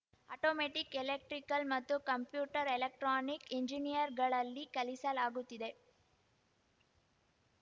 automatic electrical ಮತ್ತು computer electronic engineer ಗಳಲ್ಲಿ ಕಲಿಸಲಾಗುತ್ತಿದೆ